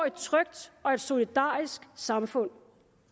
et trygt og et solidarisk samfund